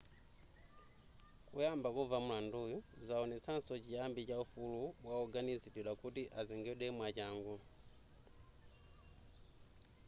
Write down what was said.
kuyamba kumva mulanduyu zaonetsaso chiyambi cha ufulu wawoganiziridwa kuti azengedwe mwachangu